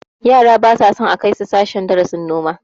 Yara ba sa son a kai su sashen darasin noma